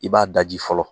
I b'a daji fɔlɔ